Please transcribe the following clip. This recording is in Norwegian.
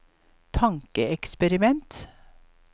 tankeeksperiment